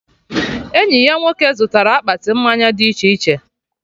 Enyi ya nwoke zụtara akpati mmanya dị iche iche